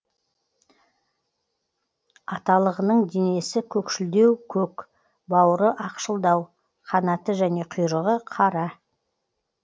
аталығының денесі көкшілдеу көк бауыры ақшылдау қанаты және құйрығы қара